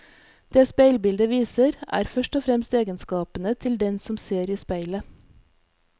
Det speilbildet viser, er først og fremst egenskapene til den som ser i speilet.